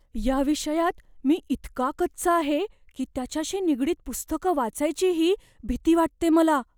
या विषयात मी इतका कच्चा आहे की त्याच्याशी निगडीत पुस्तकं वाचायचीही भीती वाटते मला.